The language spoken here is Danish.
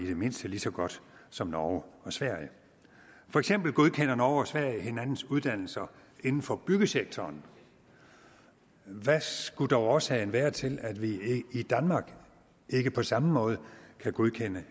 det mindste lige så godt som norge og sverige for eksempel godkender norge og sverige hinandens uddannelser inden for byggesektoren hvad skulle dog årsagen være til at vi i danmark ikke på samme måde kan godkende